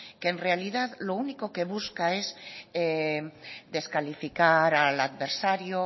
que en realidad lo único que busca es descalificar al adversario